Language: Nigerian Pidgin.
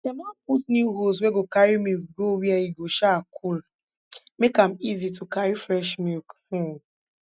dem don put new hose wey go carry milk go where e go um cool make am easy to carry fresh milk um